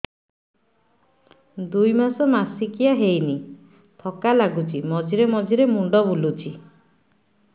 ଦୁଇ ମାସ ମାସିକିଆ ହେଇନି ଥକା ଲାଗୁଚି ମଝିରେ ମଝିରେ ମୁଣ୍ଡ ବୁଲୁଛି